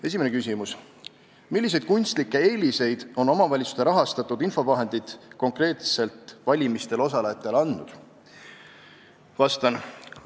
Esimene küsimus: "Milliseid kunstlikke eeliseid on omavalitsuste poolt rahastatud infovahendid konkreetselt valimistel osalejatele andnud?